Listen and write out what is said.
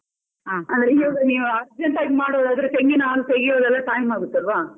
ಇವಾಗ ನೀವ್ urgent ಆಗಿ ಮಾಡುದಾದ್ರೆ ತೆಂಗಿನ ಹಾಲು ತೆಗಿಯುದೆಲ್ಲ time ಆಗುತ್ತೆ ಅಲ್ವ.